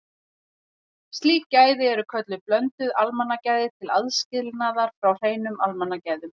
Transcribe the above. Slík gæði eru kölluð blönduð almannagæði til aðskilnaðar frá hreinum almannagæðum.